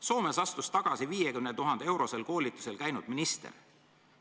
Soomes astus tagasi 50 000-eurosel koolitusel käinud minister.